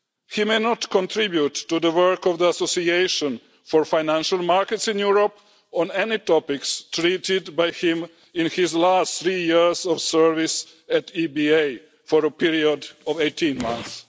He may not contribute to the work of the Association for Financial Markets in Europe on any topics treated by him in his last three years of service at the EBA for a period of 18 months.